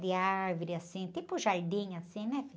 De árvore, assim, tipo jardim, assim, né?